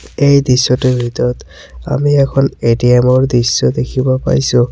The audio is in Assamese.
এই দৃশ্যটোৰ ভিতৰত আমি এখন এ_টি_এম ৰ দৃশ্য দেখিব পাইছোঁ।